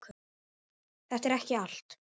Þetta er ekki allt